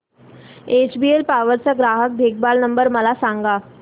HBL power चा ग्राहक देखभाल नंबर मला सांगा